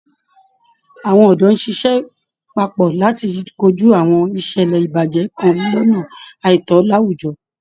Àwọn òdó ń ṣiṣẹ́ papọ̀ láti kojú àwọn ìṣẹ̀lẹ̀ ìbàjẹ́ nkan lọ́nà àìtó láwùjọ